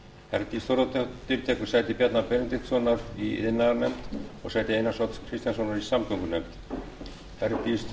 herdís þórðardóttir tekur sæti bjarna benediktssonar í iðnaðarnefnd og sæti einars odds kristjánssonar í samgöngunefnd herdís